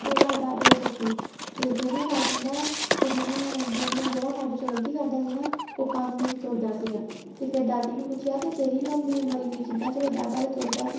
ਇਹ ਗੱਲ ਦਾਦੇ ਨੇ ਦੱਸੀ ਤੇ ਜਿਹਨੇ ਕਹਿੰਦਾ ਕੇ ਜਿਹਨੇ ਜਿਹਨੇ ਜਿਹੜਾ ਸਾਡੇ ਚੋ ਗ਼ਲਤੀ ਕਰਦਾ ਸੀ ਨਾ ਉਹ ਪੰਜ ਮਿੰਟ ਤੁਰਦਾ ਸੀਗਾ ਤੇ ਫ਼ੇਰ ਦੀਦੀ ਨੂੰ ਪੁੱਛਿਆ ਕੇ ਤੇਰੀ ਲੰਬੀ ਉਮਰ ਇੰਨੀ ਕਿੱਦਾਂ ਚਲੋਂ ਦਾਦਾ ਤੇ ਤੁਰਦਾ ਸੀ